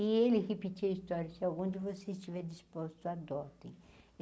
E ele repetia a história se algum de vocês estiver disposto adotem.